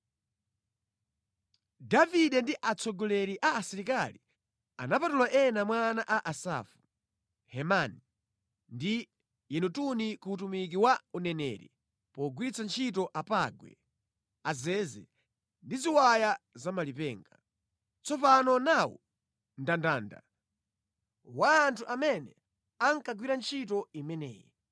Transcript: Davide ndi atsogoleri a asilikali anapatula ena mwa ana a Asafu, Hemani ndi Yedutuni ku utumiki wa uneneri pogwiritsa ntchito apangwe, azeze ndi ziwaya zamalipenga. Tsopano nawu mndandanda wa anthu amene ankagwira ntchito imeneyi: